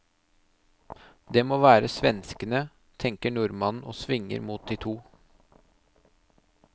Det må være svenskene, tenker nordmannen og svinger mot de to.